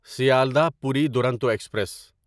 Sealdah Puri Duronto express